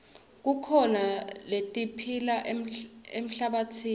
kukhona letiphila emhlabatsini